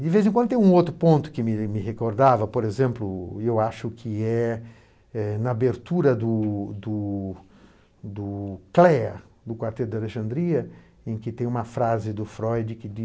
De vez em quando tem um outro ponto que me me recordava, por exemplo, eu acho que é é na abertura do do do Clare, do Quarteto da Alexandria, em que tem uma frase do Freud que